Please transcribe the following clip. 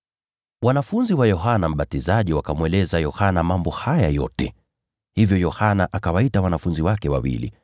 Wanafunzi wa Yohana Mbatizaji wakamweleza Yohana mambo haya yote. Hivyo Yohana akawaita wanafunzi wake wawili